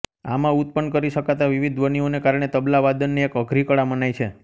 આમાં ઉત્ત્પન્ન કરી શકાતા વિવિધ ધ્વનિઓને કારણે તબલાવાદનને એક અઘરી કળા મનાય છે